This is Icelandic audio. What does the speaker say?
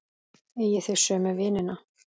Eigið þið sömu vinina?